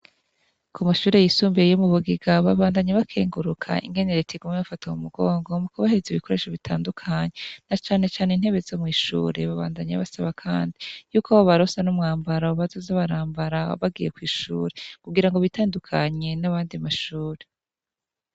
Ku mashure yisumbuye iyo mu bugiga babandanyi bakenguruka ingene retigume bafata mu mugongo mu kubahiriza ibikoresho bitandukanye na canecane intebe zo mw'ishure babandanyi basaba kandi yuko abo barosa n'umwambaro bazaza barambara abagiye kw'ishure kugira ngo bitandukanye n'abandi mashure.